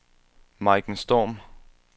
Maiken Storm